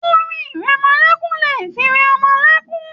Orin ìrẹmọlẹ́kún lè fi rẹ ọmọ lẹ́kún.